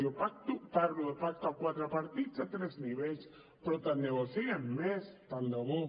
jo parlo de pacte a quatre partits a tres nivells però tant de bo en siguem més tant de bo